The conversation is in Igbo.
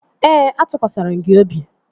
Ee, atụkwasịrị m gị obi